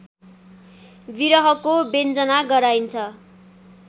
विरहको व्यञ्जना गराइन्छ